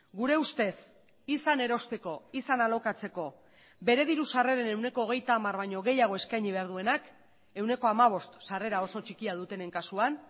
gure ustez izan erosteko izan alokatzeko bere diru sarreren ehuneko hogeita hamar baino gehiago eskaini behar duenak ehuneko hamabost sarrera oso txikia dutenen kasuan